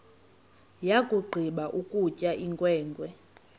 yakugqiba ukutya inkwenkwe